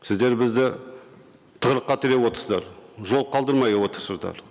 сіздер бізді тығырыққа тіреп отырсыздар жол қалдырмай отырсыздар